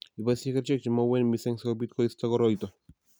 Iboisyee kerichek che ma uueen mising, si kobiit koistoe koroito.